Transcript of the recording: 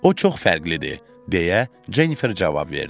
O çox fərqlidir, deyə Jennifer cavab verdi.